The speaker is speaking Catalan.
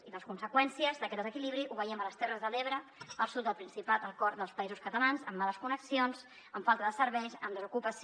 i les conseqüències d’aquest desequili·bri les veiem a les terres de l’ebre al sud del principat al cor dels països catalans amb males connexions amb falta de serveis amb desocupació